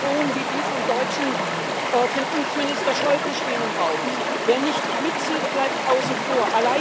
Offene Drohungen wie die vom deutschen Finanzminister Schäuble stehen im Raum Wer nicht mitzieht, bleibt außen vor.